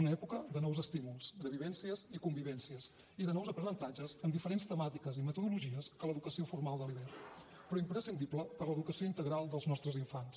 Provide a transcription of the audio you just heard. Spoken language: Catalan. una època de nous estímuls de vivències i convivències i de nous aprenentatges amb diferents temàtiques i metodologies que l’educació formal de l’hivern però imprescindible per a l’educació integral dels nostres infants